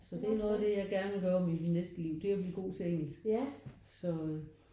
Så det er noget af det jeg gerne vil gøre om i mit næste liv. Det er at blive god til engelsk så øh